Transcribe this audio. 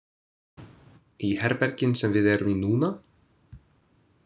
Í herbergin sem við erum í núna?